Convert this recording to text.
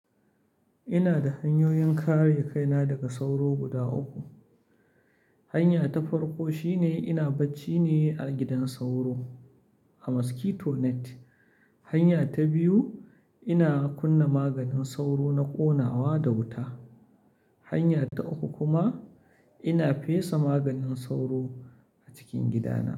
Ina da hanyoyin kare kaina daga sauro guda uku. Hanya ta farko shine ina bacci ne a gidan sauro, a mosquito net. Hanya ta biyu, ina kunna maganin sauro na ƙonawa da wuta. Hanya ta uku kuma ina fesa maganin sauro a cikin gidana.